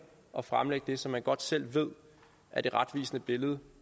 at fremlægge det som man godt selv ved er det retvisende billede